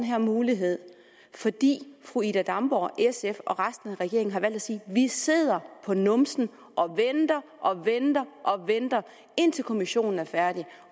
her mulighed fordi fru ida damborg sf og resten af regeringen har valgt at sige vi sidder på numsen og venter og venter indtil kommissionen er færdig